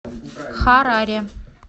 хараре